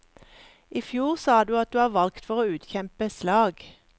I fjor sa du at du var valgt for å utkjempe slag.